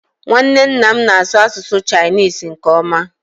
Nwanne nna m na-asụ asụsụ Chinisi nke ọma